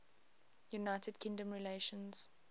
united kingdom relations